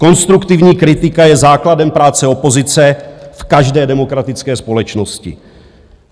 Konstruktivní kritika je základem práce opozice v každé demokratické společnosti.